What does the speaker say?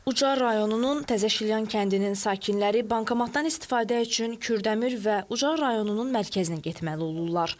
Ucar rayonunun Təzəşilyan kəndinin sakinləri bankomatdan istifadə üçün Kürdəmir və Ucar rayonunun mərkəzinə getməli olurlar.